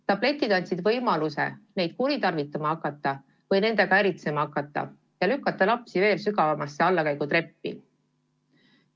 Tabletid on andnud võimaluse neid kuritarvitama hakata või nendega äritseda ja see lükkab lapsed veel sügavama allakäigu trepile.